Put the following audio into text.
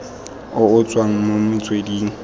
o o tswang mo metsweding